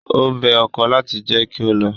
Ó bẹ ọkọ láti jẹ́ kí ó lọ.